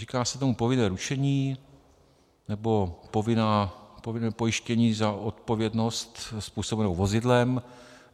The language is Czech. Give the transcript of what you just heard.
Říká se tomu povinné ručení, nebo povinné pojištění za odpovědnost způsobenou vozidlem.